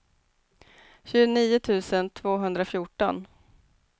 tjugonio tusen tvåhundrafjorton